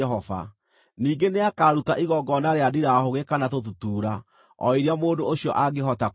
Ningĩ nĩakaruta igongona rĩa ndirahũgĩ kana tũtutuura, o iria mũndũ ũcio angĩhota kũruta,